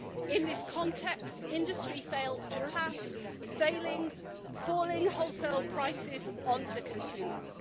In this context, industry fails to pass falling wholesale prices on to consumers.